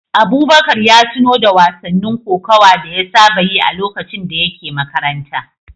Abubakar ya tuno da wasannin kokawa da ya saba yi a lokacin da yake makaranta.